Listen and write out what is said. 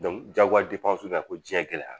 Dɔnku jagoya nana ko diɲɛ gɛlɛyara!